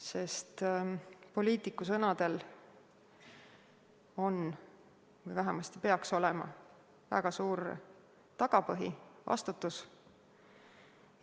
Sest poliitiku sõnadel on või vähemasti peaks olema väga suur tagapõhi, vastutus.